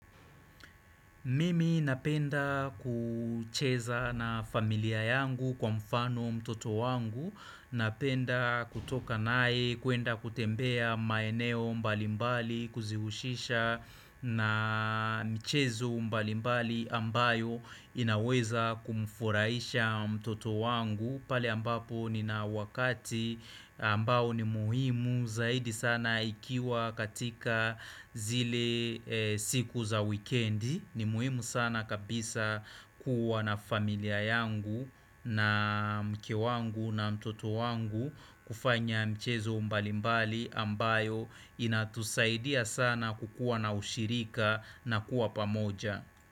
Mimi napenda kucheza na familia yangu kwa mfano mtoto wangu Napenda kutoka nae kuenda kutembea maeneo mbalimbali Kuzihushisha na michezo mbalimbali ambayo inaweza kumfurahisha mtoto wangu pale ambapo nina wakati ambao ni muhimu zaidi sana ikiwa katika zile siku za wikendi ni muhimu sana kabisa kuwa na familia yangu na mke wangu na mtoto wangu kufanya michezo mbalimbali ambayo inatusaidia sana kukuwa na ushirika na kuwa pamoja.